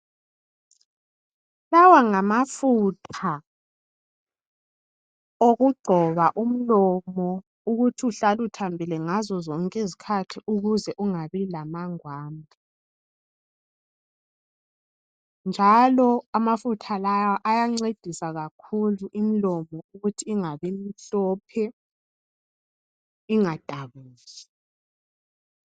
Lawa ngamafutha okugcoba umlomo ukuthi uhlale uthambile ngazozonke izkhathi ukuze ungabilamangwambi njalo amafutha lawa ayancedisa kakhulu imlomo ukuthi ingabimhlophe ingadabuki.